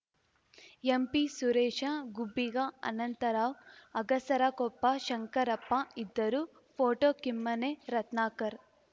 ಎಂಪಿಸುರೇಶ ಗುಬ್ಬಿಗಾ ಅನಂತರಾವ್‌ ಅಗಸರಕೊಪ್ಪ ಶಂಕರಪ್ಪ ಇದ್ದರು ಪೋಟೋ ಕಿಮ್ಮನೆ ರತ್ನಾಕರ್‌